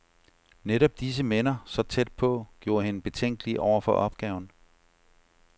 Netop disse minder, så tæt på, gjorde hende betænkelig over for opgaven.